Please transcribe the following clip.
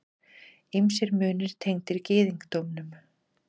Ýmsir munir tengdir gyðingdómnum.